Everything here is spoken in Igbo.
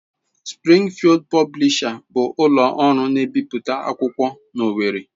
Sprịngfịld Pọblisha bụ ụlọ ọrụ na-ebipụta akwụkwọ n'Owerri